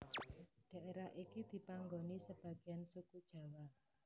Daerah iki dipanggoni sebagiyan suku Jawa